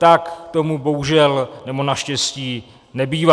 Tak tomu bohužel, nebo naštěstí, nebývá.